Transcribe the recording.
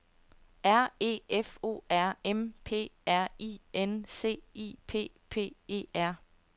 R E F O R M P R I N C I P P E R